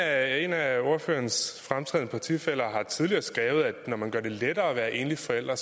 af ordførerens fremtrædende partifæller har tidligere skrevet at når man gør det lettere at være enlig forælder er